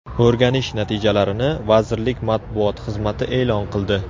O‘rganish natijalarini vazirlik matbuot xizmati e’lon qildi .